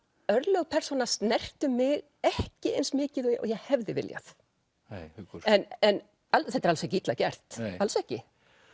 örlög persóna snertu mig ekki eins mikið og ég hefði viljað en en þetta er alls ekki illa gert alls ekki